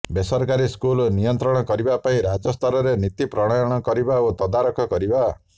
ବେସରକାରୀ ସ୍କୁଲକୁ ନିୟନ୍ତ୍ରଣ କରିବା ପାଇଁ ରାଜ୍ୟସ୍ତରରେ ନୀତି ପ୍ରଣୟନ କରିବା ଓ ତଦାରଖ କରିବା